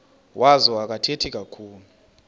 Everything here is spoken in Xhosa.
wazo akathethi kakhulu